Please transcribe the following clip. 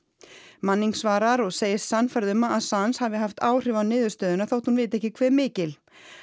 manning svarar og segist sannfærð um að hafi haft áhrif á niðurstöðuna þótt hún viti ekki hve mikil